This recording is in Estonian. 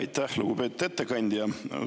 Aitäh, lugupeetud ettekandja!